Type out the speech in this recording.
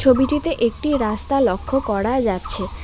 ছবিটিতে একটি রাস্তা লক্ষ করা যাচ্ছে।